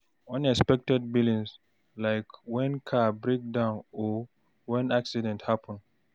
Unexpected billings like when car breakdown or when accident happen